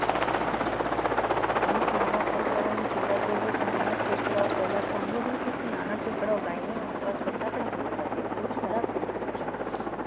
અમુક નાના છોકરાઓને જોવા જોઈએ તો નાના છોકરાઓ પહેલા નાના છોકરા ગાયની આસપાસ ફટાકડા ફોડતા તેઓ ખરાબ તે બહુ ખરાબ